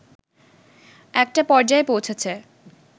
একটা পর্যায়ে পৌঁছেছে